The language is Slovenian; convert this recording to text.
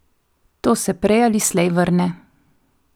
To se prej ali slej vrne.